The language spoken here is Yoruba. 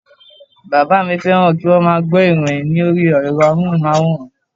Bàbá mi féràn kíwón má a gbó ìròyin lórí èro amóhùnmáwòrán